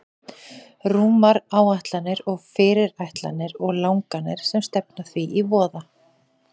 Rúmar áætlanir og fyrirætlanir og langanir sem stefna því í voða.